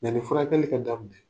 Yani furakali ka daminɛ